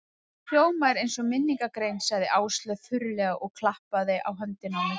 Þú hljómar eins og minningargrein sagði Áslaug þurrlega og klappaði á höndina á mér.